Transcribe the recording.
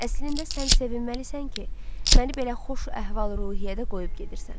Əslində sən sevinməlisən ki, məni belə xoş əhval-ruhiyyədə qoyub gedirsən.